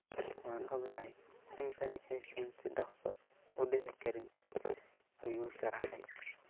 "Waan ognahay in tani aysan si dhaqso ah u dhici karin," ayuu sharaxay.